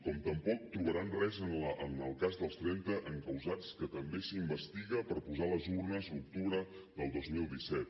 com tampoc trobaran res en el cas dels trenta encausats que també s’investiga per posar les urnes l’octubre del dos mil disset